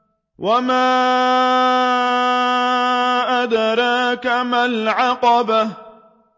وَمَا أَدْرَاكَ مَا الْعَقَبَةُ